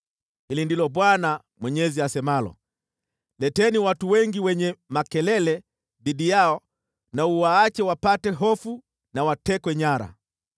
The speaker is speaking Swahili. “Hili ndilo Bwana Mwenyezi asemalo, Leteni watu wengi wenye makelele dhidi yao na uwaache wapate hofu na watekwe nyara.